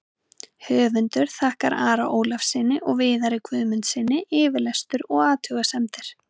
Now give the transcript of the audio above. Höfundur þakkar Ara Ólafssyni og Viðari Guðmundssyni yfirlestur og athugasemdir.